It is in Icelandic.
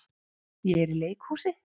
Ég er í leikhúsi.